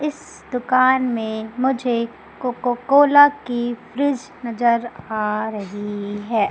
इस दुकान में कोकोकोला की फ्रीज नजर आ रही है।